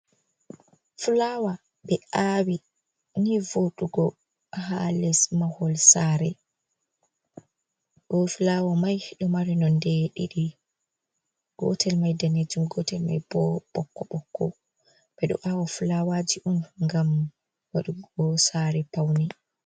Flawa be awi ni vodugo ha les mahol sare, bo flawa mai do mari nonde didi gotel mai danejum gotel mai bo bokko-bokko. Bé do awa flawaji un gam wadugo sare pauneh